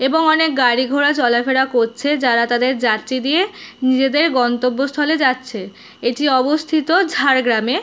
এবং অনেক গাড়ি ঘোড়া চলা ফেরা করছে যারা তাদের যাত্রী দিয়ে নিজেদের গন্তব্যস্থলে যাচ্ছে। এটি অবস্থিত ঝাড়গ্রামে ।